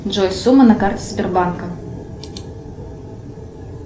джой сумма на карте сбербанка